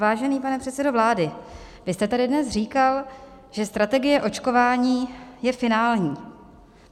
Vážený pane předsedo vlády, vy jste tady dnes říkal, že strategie očkování je finální.